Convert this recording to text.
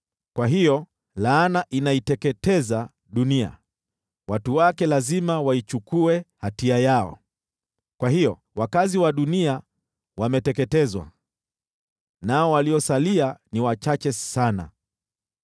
Kwa hiyo laana inaiteketeza dunia, watu wake lazima waichukue hatia yao. Kwa hiyo wakazi wa dunia wameteketezwa, nao waliosalia ni wachache sana.